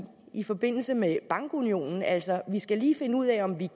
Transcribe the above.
i forbindelse med bankunionen altså at lige skal finde ud af om